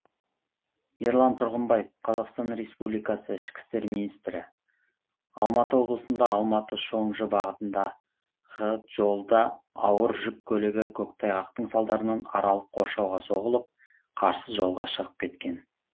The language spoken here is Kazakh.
ерлан тұрғымбаев қазақстан республикасы ішкі істер министрі алматы облысында алматы шоңжы бағытындағы жолда ауыр жүк көлігі көктайғақтың салдарынан аралық қоршауға соғылып қарсы жолға шығып кеткен